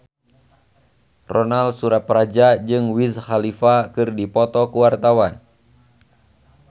Ronal Surapradja jeung Wiz Khalifa keur dipoto ku wartawan